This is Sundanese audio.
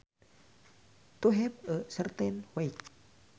To have a certain weight